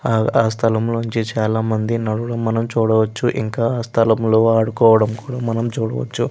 ఆ సలాం లో మనం చాల మందిని మనుషుల్చూలు చూడడవచు ఇంకా ఆ సలాం లో ఆడుకోవడం మనం చూడవచు.